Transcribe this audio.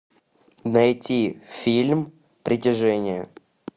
найти фильм притяжение